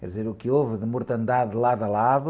Quer dizer, o que houve de mortandade de lado a lado...